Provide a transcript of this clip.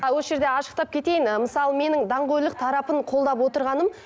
а осы жерде ашықтап кетейін ы мысалы менің даңғойлық тарапын қолдап отырғаным